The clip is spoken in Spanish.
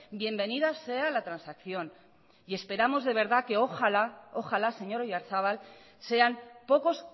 bienvenida sea la transacción esperamos de verdad que ojalá señor oyarzabal sean pocos